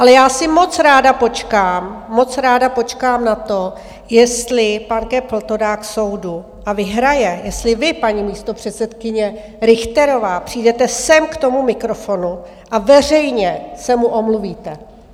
Ale já si moc ráda počkám, moc ráda počkám na to, jestli pan Köppl to dá k soudu a vyhraje, jestli vy, paní místopředsedkyně Richterová, přijdete sem k tomu mikrofonu a veřejně se mu omluvíte.